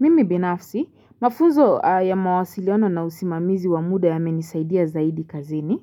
Mimi binafsi mafunzo ya mawasiliano na usimamizi wa muda yamenisaidia zaidi kazini